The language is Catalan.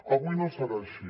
avui no serà així